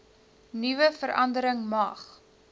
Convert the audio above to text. vernuwe verandering mag